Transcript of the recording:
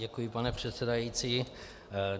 Děkuji, pane předsedající.